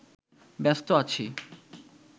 ব্যস্ত আছি